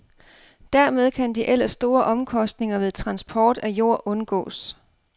Dermed kan de ellers store omkostninger ved transport af jord undgås.